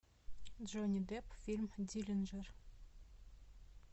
джонни депп фильм диллинджер